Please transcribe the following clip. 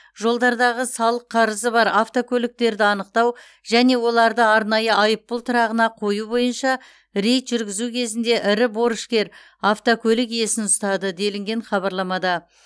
жолдардағы салық қарызы бар автокөліктерді анықтау және оларды арнайы айыппұл тұрағына қою бойынша рейд жүргізу кезінде ірі борышкер автокөлік иесін ұстады делінген хабарламада